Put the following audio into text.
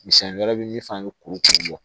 Misali wɛrɛ bɛ min fɔ an bɛ kuru kuru bɔ